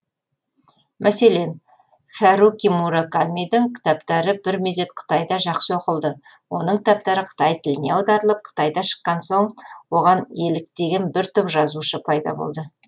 мәселен хәруки муракамидің кітаптары бір мезет қытайда жақсы оқылды оның кітаптары қытай тіліне аударылып қытайда шыққан соң оған еліктеген бір топ жазушы пайда болды